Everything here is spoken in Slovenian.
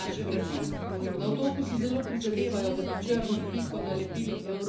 Na Otoku si zelo prizadevajo, da bi črno piko nalepili evropskim politikom.